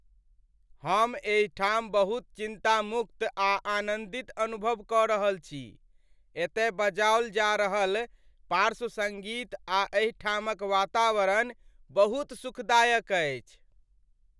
हम एहिठाम बहुत चिंतामुक्त आ आनंदित अनुभव क रहल छी , एतय बजाओल जा रहल पार्श्व सङ्गीत आ एहिठामक वातावरण बहुत सुखदायक अछि!